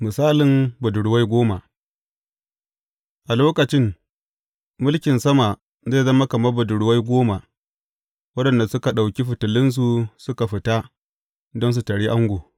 Misalin budurwai goma A lokacin mulkin sama zai zama kamar budurwai goma waɗanda suka ɗauki fitilunsu suka fita don su taryi ango.